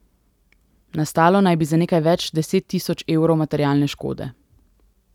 Nastalo naj bi za nekaj več deset tisoč evrov materialne škode.